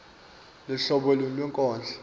luhlobo luni lwenkondlo